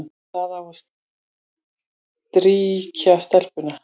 Það á að strýkja stelpuna,